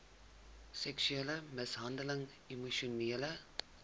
seksuele mishandeling emosionele